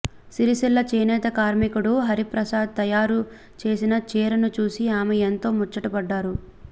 సిరిసిల్ల చేనేత కార్మికుడు హరిప్రసాద్ తయూరు చేసిన చీరను చూసి ఆమె ఎంతో ముచ్చటపడ్డారు